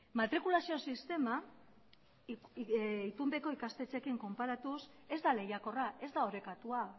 matrikulazio sistema itunpeko ikastetxeekin konparatuz ez da lehiakorra ez da orekatua